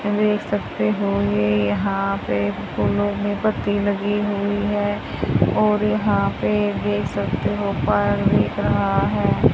देख सकते होंगे यहां पे फूलों में पत्ती लगी हुई है और यहां पे देख सकते हो पर दिख रहा है।